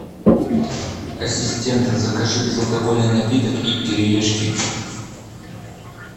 ассистент закажи безалкогольный напиток и кириешки